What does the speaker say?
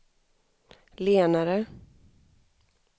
lenare